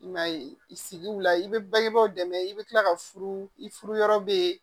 I m'a ye i sigiw la i bɛ bangebaaw dɛmɛ i bɛ tila ka furu i furu yɔrɔ bɛ